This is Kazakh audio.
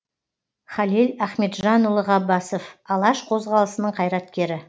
халел ахметжанұлы ғаббасов алаш қозғалысының қайраткері